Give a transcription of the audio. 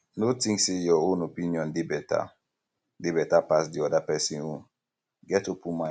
no think sey your own opinion dey better dey better pass di oda person own get open mind